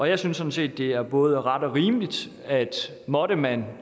jeg synes sådan set at det er både ret og rimeligt at måtte man